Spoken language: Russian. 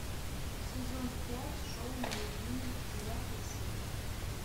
сезон пять шоу нелюбимый девятая серия